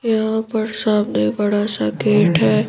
यहां पर सामने बड़ा सा गेट है।